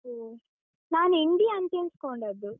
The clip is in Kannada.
ಒಹ್, ನಾನ್ India ಅಂತ್ ಎಣಿಸ್ಕೊಂಡದ್ದು.